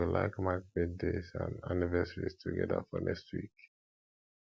i go like mark birthdays and anniversaries together for next week